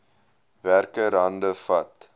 werker hande vat